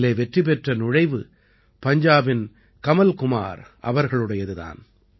இதிலே வெற்றி பெற்ற நுழைவு பஞ்சாபின் கமல் குமார் அவர்களுடையது தான்